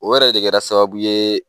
O yɛrɛ de kɛra sababu ye